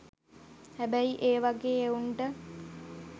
හැබැයි ඒ වගේ එවුන්ට